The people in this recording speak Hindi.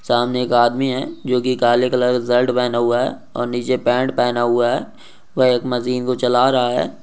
सामने इक आदमी है जो की काले कलर की शर्ट पहना हुआ है निचे पैंट पहना हुआ है वह इक मशीन को चला रहा है।